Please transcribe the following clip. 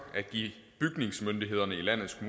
at give bygningsmyndighederne i landets